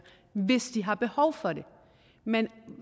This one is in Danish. hvis de har behov for det men